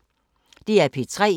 DR P3